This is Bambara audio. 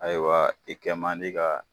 Ayiwa i kɛ ma di ka